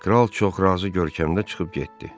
Kral çox razı görkəmdə çıxıb getdi.